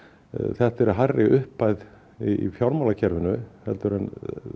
þetta er hærri upphæð í fjármálakerfinu heldur en